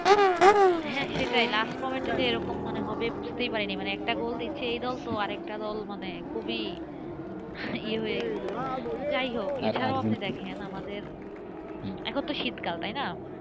হ্যাঁসেটাই last minute এরকম হবে বুঝতে পারিনিএকটা দল গোল দিচ্ছে তো আরেকটা দল মানে খুবই হয়ে গেছে যাই হউক এটাও আপনি দেখেন, আমাদের, এখন তো শীতকাল?